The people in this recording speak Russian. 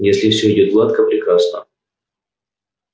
если всё идёт гладко прекрасно